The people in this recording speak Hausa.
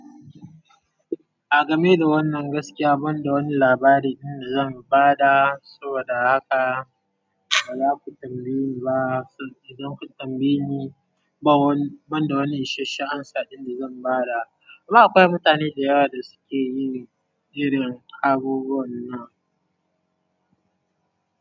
A game da wannan gaskiya, ban da wani labari ɗin da zan ba da, saboda haka ba za ku tambaye ni ba. Idan kun tambaye ni, ba wani, ban da wani ishasshen amsa ɗin da zan ba da. Amma akwai mutane da yawa da suke mini irin abubuwan nan.